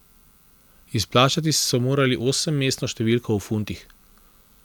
Izplačati so morali osemmestno številko v funtih.